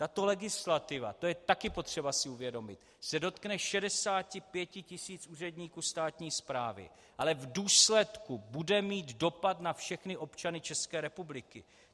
Tato legislativa, to je také potřeba si uvědomit, se dotkne 65 tisíc úředníků státní správy, ale v důsledku bude mít dopad na všechny občany České republiky.